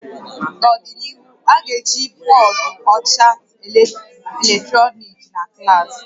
N'ọdịnihu, a ga-eji bọọdụ ọcha eletrọnịkị na klaasị